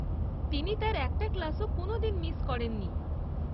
তিনি তার একটা ক্লাসও কোনোদিন মিস করেননি।